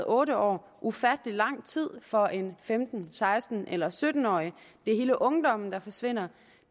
otte år ufattelig lang tid for en femten seksten eller sytten årig det er hele ungdommen der forsvinder